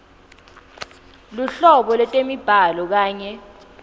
luhlobo lwetemibhalo kanye